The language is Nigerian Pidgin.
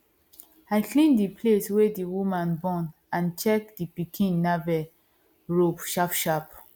i clean the place wey the woman born and check the pikin navel rope sharp sharp